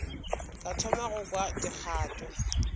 ka thoma go kwa dikgato